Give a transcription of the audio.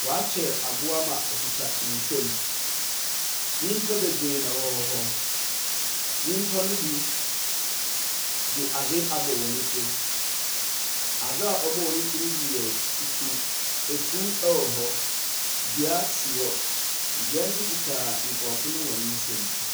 Wɔakyer abowa ma okitsa nsamu, nyimpa beberee na wɔwɔ hɔ. nyimpa no bi dze adze abɔ hɔn tsir. Adze ɔbɔ hɔn tsir no bi yɛ fufuw, efuw wɔ hɔ, dua si hɔ, dua so kita nkorɔfo no hɔn nsamu.